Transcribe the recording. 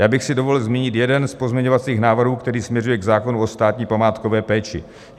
Já bych si dovolil zmínit jeden z pozměňovacích návrhů, který směřuje k zákonu o státní památkové péči.